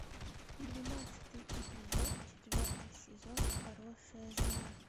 двенадцатый эпизод четвертый сезон хорошая жена